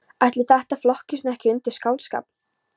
Ætli þetta flokkist nú ekki undir skáldskap.